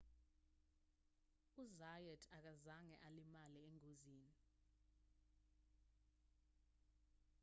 u-zayat akazange alimale engozini